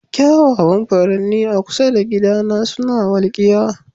Kyawawan furanni a kusa da gidana suna walkiya.